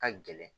Ka gɛlɛn